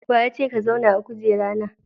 Wa ya ce ka zauna a kujera na?